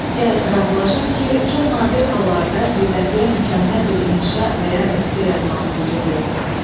Gəl razılaşaq ki, çox nadir hallarda birdəfəyə mükəmməl bir inşaa və ya esse yazmaq mümkündür.